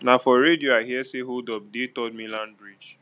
na for radio i hear sey holdup dey third mainland bridge